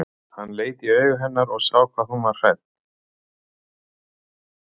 Hann leit í augu hennar og sá hvað hún var hrædd.